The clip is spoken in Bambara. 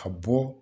A bɔ